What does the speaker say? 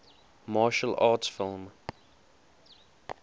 martial arts film